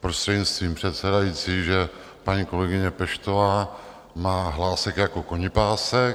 prostřednictvím předsedajícího, že paní kolegyně Peštová má hlásek jako konipásek.